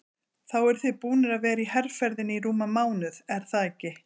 Þá eruð þið búnir að vera í herferðinni í rúman mánuð er það ekki?